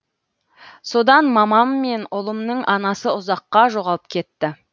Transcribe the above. содан мамам мен ұлымның анасы ұзаққа жоғалып кетті